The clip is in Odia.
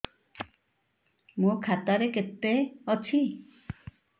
ମୋ ଖାତା ରେ କେତେ ଅଛି